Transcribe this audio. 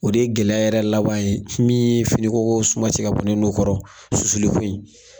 O de ye gɛlɛya yɛrɛ laban ye min ye finiko suma ci ka bɔ ne nun kɔrɔ susuli ko in.